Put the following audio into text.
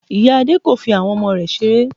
Ìya Adé kò fi àwọn ọmọ rẹ̀ seré